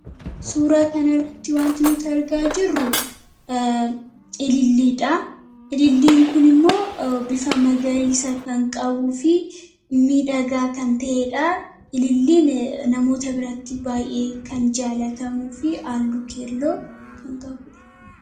Suuraa kan irratti wanti nuti argaa jirru ililliidha. Ililiin kun immoo bifa magariisaa kan qabuu fi midhagaa kan ta'eedha. Ililliin namoota biratti baay'ee kan jaalatamuu fi halluu keelloo kan qabuudha.